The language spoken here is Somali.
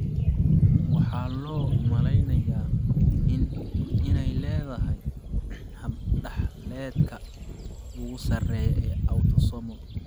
Waxaa loo malaynayaa inay leedahay hab-dhaxaleedka ugu sarreeya ee autosomal.